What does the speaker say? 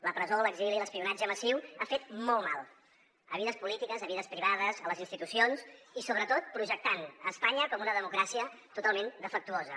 la presó l’exili l’espionatge massiu han fet molt mal a vides polítiques a vides privades a les institucions i sobretot projectant espanya com una democràcia totalment defectuosa